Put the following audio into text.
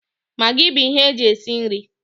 Magị bụ ihe eji esi nri